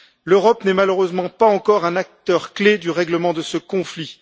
L'Europe n'est malheureusement pas encore un acteur clé du règlement de ce conflit.